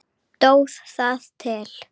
Stóð það til?